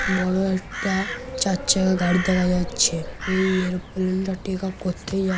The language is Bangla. বড় একটা চারচাকা গাড়ি দেখা যাচ্ছেএই এরোপ্লেন -টা টেক অফ করতেই যা--